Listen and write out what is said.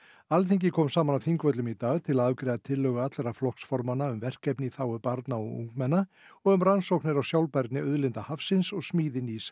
Alþingi kom saman á Þingvöllum í dag til að afgreiða tillögu allra flokksformanna um verkefni í þágu barna og ungmenna og um rannsóknir á sjálfbærni auðlinda hafsins og smíði nýs